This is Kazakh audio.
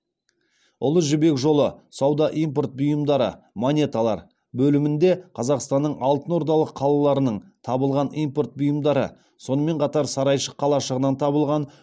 ұлы жібек жолы сауда импорт бұйымдары монеталар бөлімінде қазақстанның алтынордалық қалаларынан табылған импорт бұйымдары сонымен қатар сарайшық қалашығынан табылған